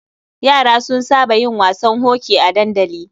Yara sun saba yin wasan hoki a dandali.